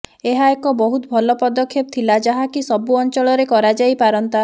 ଏହା ଏକ ବହୁତ ଭଲ ପଦକ୍ଷେପ ଥିଲା ଯାହାକି ସବୁ ଅଂଚଳରେ କରାଯାଇପାରନ୍ତା